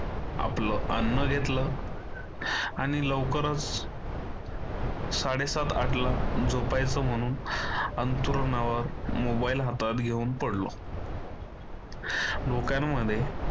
आपलं अन्न घेतलं आणि लवकरच साडेसात आठला झोपायचं म्हणून अंथरुणावर मोबाईल हातात घेऊन पडलो डोक्यामध्ये